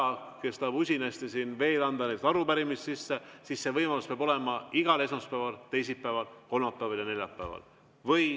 Sellel, kes tahab usinasti siin veel anda arupärimisi või seaduseelnõusid sisse, peab see võimalus olema igal esmaspäeval, teisipäeval, kolmapäeval ja neljapäeval.